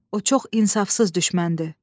O çox insafsız düşməndir.